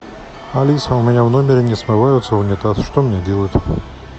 алиса у меня в номере не смывается унитаз что мне делать